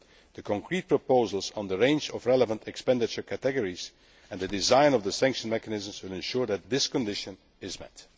The concrete proposals on the range of relevant expenditure categories and the design of the sanction mechanisms will ensure that this condition is met.